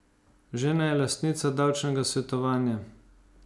Žena je lastnica Davčnega svetovanja.